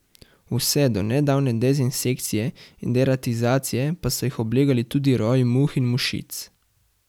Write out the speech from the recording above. Vse do nedavne dezinsekcije in deratizacije pa so jih oblegali tudi roji muh in mušic.